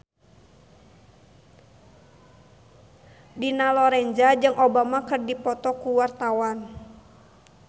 Dina Lorenza jeung Obama keur dipoto ku wartawan